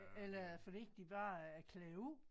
Eller er det fordi de bare er klædt ud